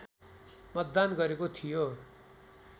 मतदान गरेको थियो